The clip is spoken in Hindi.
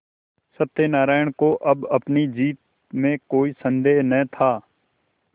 सत्यनाराण को अब अपनी जीत में कोई सन्देह न था